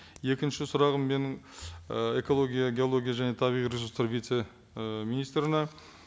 екінші сұрағым менің і экология геология және табиғи ресурстар вице і министріне